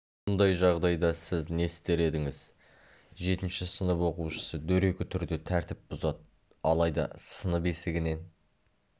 мұндай жағдайда сіз не істер едіңіз жетінші сынып оқушысы дөрекі түрде тәртіп бұзады алайда сынып есігінен